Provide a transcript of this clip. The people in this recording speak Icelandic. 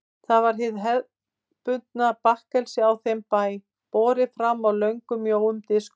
Það var hið hefðbundna bakkelsi á þeim bæ, borið fram á löngum og mjóum diskum.